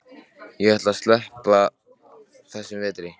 Ég ætla að sleppa þessum vetri.